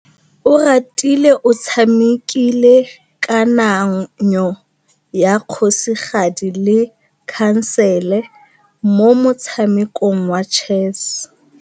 Oratile o tshamekile kananyô ya kgosigadi le khasêlê mo motshamekong wa chess.